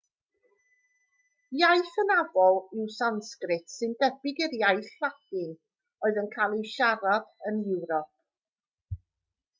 iaith hynafol yw sansgrit sy'n debyg i'r iaith ladin oedd yn cael ei siarad yn ewrop